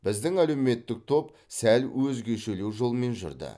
біздің әлеуметтік топ сәл өзгешелеу жолмен жүрді